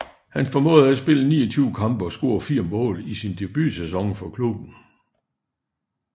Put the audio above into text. Han formåede at spille 29 kampe og score 4 mål i sin debutsæson for klubben